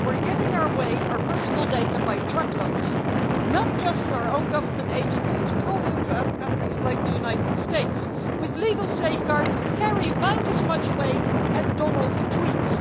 And we are giving away our way our personal data by the truckload, not just to our own government agencies, but also to other countries like the United States, with legal safeguards that carry about as much weight as Donald's tweets.